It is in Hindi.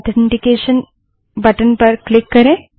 ऑथेन्टकैशन बटन पर क्लिक करें